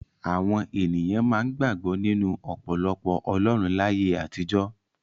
Àwọn ènìyàn máa ń gbàgbọ́ nínú ọ̀pọ̀lọpọ̀ ọlọ́run láyé àtijọ́.